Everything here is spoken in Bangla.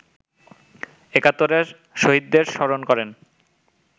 একাত্তরের শহীদদের স্মরণ করেন